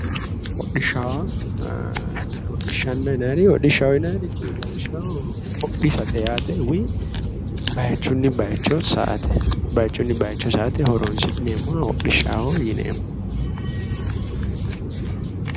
Hodhishaho yaa hodhishaho yinayirichi lawishshaho hodhisate yaate woyi baayichunni bayicho sa"ate bayichunni bayicho sa"ate horonisi'neemoha hodhishaho yineemo